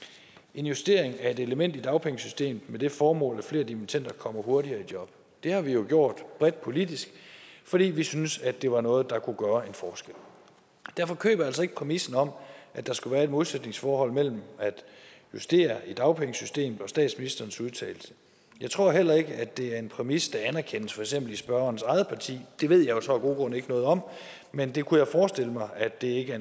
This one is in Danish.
en justering af et element i dagpengesystemet med det formål at flere dimittender kommer hurtigere i job det har vi gjort bredt politisk fordi vi syntes at det var noget der kunne gøre forskel derfor køber jeg altså ikke præmissen om at der skulle være et modsætningsforhold mellem at justere i dagpengesystemet og statsministerens udtalelse jeg tror heller ikke det er en præmis der anerkendes i for eksempel spørgerens eget parti det ved jeg så af gode grunde ikke noget om men det kunne jeg forestille mig at det ikke er